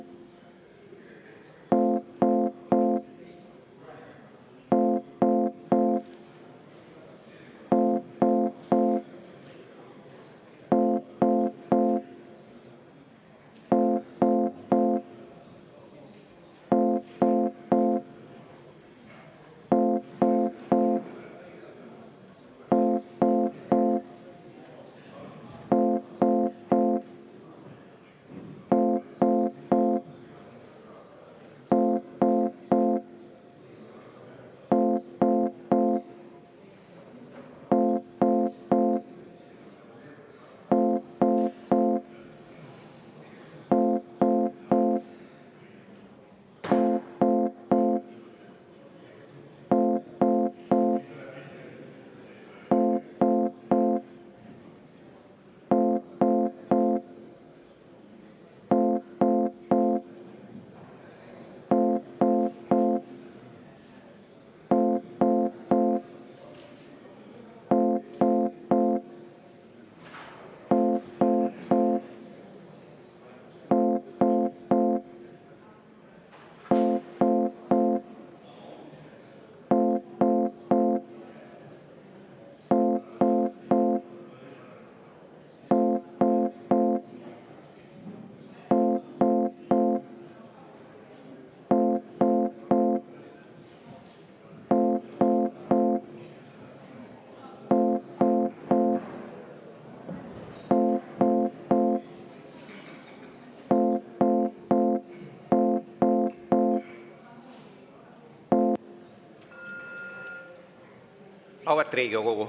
Auväärt Riigikogu!